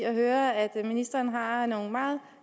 at høre at ministeren har nogle meget